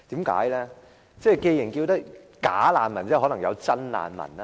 既然有"假難民"，即可能有真難民吧？